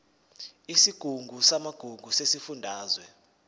isigungu samagugu sesifundazwe